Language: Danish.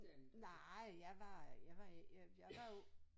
Nej jeg var jeg var i jeg jeg var jo